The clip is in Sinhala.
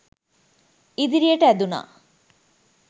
ඉදිරියට ඇදුනා.